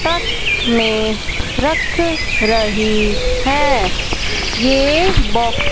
truck में रख रही है ये बॉक्स --